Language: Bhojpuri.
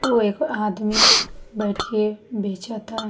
वो एक आदमी बैठ के बेचता।